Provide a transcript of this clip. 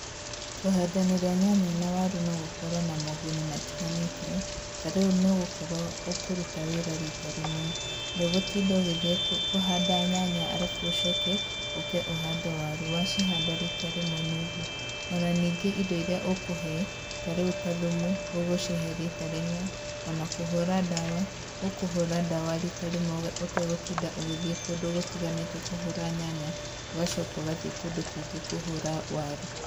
Kũhandanĩria nyanya na waru no gũkorwo na moguni matiganĩte, ta rĩu nĩũgũkorwo, ũkũruta wĩra rita rĩmwe. Ndũgũtinda ũgĩthiĩ kũhanda nyanya arabu ũcoke ũke ũhande waru, wacihanda rita rĩmwe nĩ ũguo. O na ningĩ indo iria ũkũhe, ta rĩu ta thumu, ũgũcihe rita rĩmwe, o na kũhũra ndawa, ũkũhũra ndawa rita rĩmwe ũtegũtinda ũgĩthiĩ kũndũ gũtiganĩte kũhũra nyanya, ũgacoka ũgathiĩ kũndũ kũngĩ kũhũra waru.